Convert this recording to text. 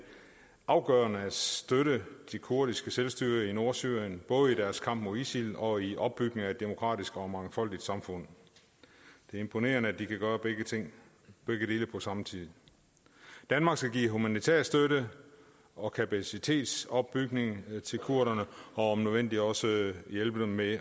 afgørende at støtte det kurdiske selvstyre i nordsyrien både i deres kamp mod isil og i opbygningen af et demokratisk og mangfoldigt samfund det er imponerende at de kan gøre begge dele på samme tid danmark skal give humanitær støtte og kapacitetsopbygning til kurderne og om nødvendigt også hjælpe dem med